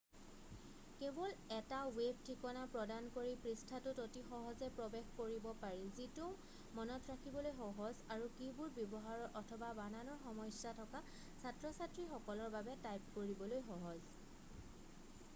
কেৱল এটা ৱেব ঠিকনা প্ৰদান কৰি পৃষ্ঠাটোত অতি সহজে প্ৰৱেশ কৰিব পাৰি যিটো মনত ৰাখিবলৈ সহজ আৰু কী-বোৰ্ড ব্যৱহাৰৰ অথবা বানানৰ সমস্যা থকা ছাত্ৰ-ছাত্ৰীসকলৰ বাবে টাইপ কৰিবলৈ সহজ